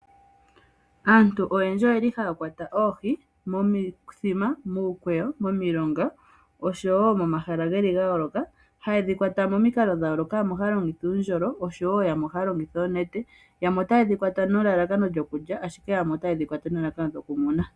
Aantu oyendji oyeli haya kwata oohi momithima, muukweyo momilonga oshowo momahala geli ga yooloka . Haye dhi kwata momikalo dha yooloka yamwe ohaya longitha uundjolo oshowo yamwe ohaya longitha oonete. Yamwe otaye dhi kwata nelalakano lyokulya ,ashike yamwe otaya kwata nelalakano lyoku muna.